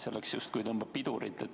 See justkui tõmbab pidurit.